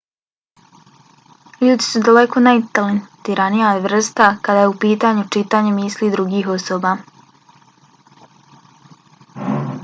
ljudi su daleko najtalentiranija vrsta kada je u pitanju čitanje misli drugih osoba